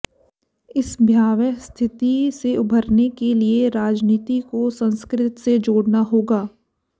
इस भयावह स्थिति से उबरने के लिए राजनीति को संस्कृति से जोडऩा होगा